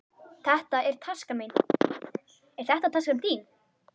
Þetta er taskan mín. Er þetta taskan þín?